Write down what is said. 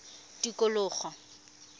tikologo